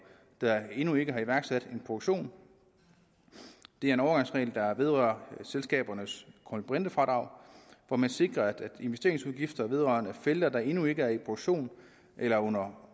der endnu ikke har iværksat en produktion det er en overgangsregel der vedrører selskabernes kulbrintefradrag hvor man sikrer at investeringsudgifter vedrørende felter der endnu ikke er i produktion eller er under